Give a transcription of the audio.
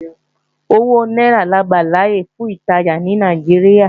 Owó náírà la gbàláyè fún ìtajà ní Nàìjíríà